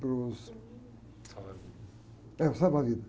para os...alva-vidas.É, os salva-vidas.